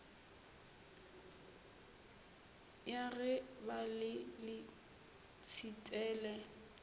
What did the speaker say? ya ge ba le letshitele